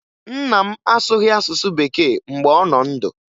Nna m asụghị asụsụ Bekee mgbe ọ nọ ndụ